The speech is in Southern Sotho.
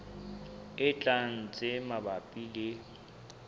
e tlang tse mabapi le